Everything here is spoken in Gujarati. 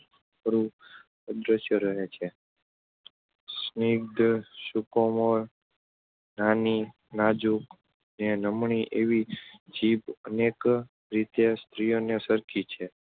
ખરું અદશ્ય રહે છે. સ્નિગ્ધ, સુકોમળ, નાની, નાજુક ને નમણી એવી જીભ અનેક રીતે સ્ત્રીઓને સરખી છે.